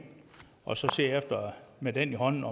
og så med den i hånden